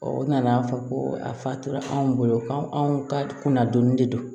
u nana fɔ ko a fa tora anw bolo ka anw ka kunna donni de don